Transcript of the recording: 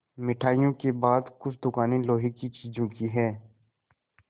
मिठाइयों के बाद कुछ दुकानें लोहे की चीज़ों की हैं